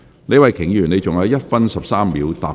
李慧琼議員，你還有1分13秒答辯。